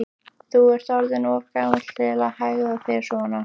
Þú ert orðinn of gamall til að hegða þér svona.